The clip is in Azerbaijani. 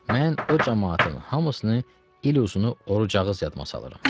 Mən o camaatın hamısını il uzunu oruc ağız yadıma salıram.